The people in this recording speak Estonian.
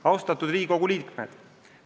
Austatud Riigikogu liikmed!